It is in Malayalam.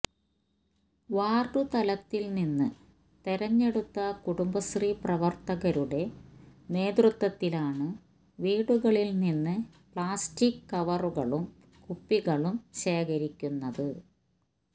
വാർഡുതലത്തിൽനിന്ന് തിരഞ്ഞെടുത്ത കുടുംബശ്രീ പ്രവത്തകരുടെ നേതൃത്വത്തിലാണ് വീടുകളിൽനിന്ന് പ്ലാസ്റ്റിക്ക് കവറുകളും കുപ്പികളും ശേഖരിക്കുന്നത്